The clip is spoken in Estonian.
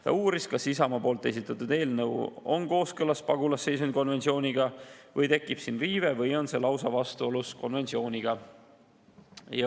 Ta uuris, kas Isamaa esitatud eelnõu on kooskõlas pagulasseisundi konventsiooniga või tekib siin riive või on see lausa vastuolus konventsiooniga.